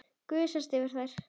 Gusast yfir þær.